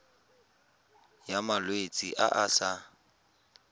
ya malwetse a a sa